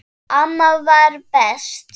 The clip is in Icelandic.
Amma var best.